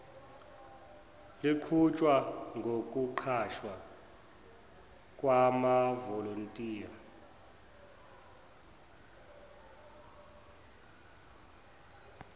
luqhutshwa ngokuqashwa kwamavolontiya